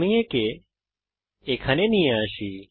আমি একে এখানে নিয়ে আসি